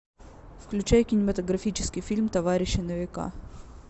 включай кинематографический фильм т о варищи на века